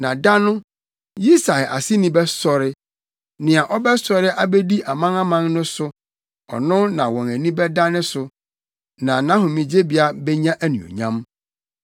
Na da no, Yisai aseni bɛsɔre; nea ɔbɛsɔre abedi aman aman no so; ɔno na wɔn ani bɛda ne so, na nʼahomegyebea benya anuonyam.